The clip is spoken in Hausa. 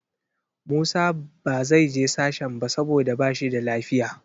Musa ba zai je sashen ba saboda ba shi da lafiya.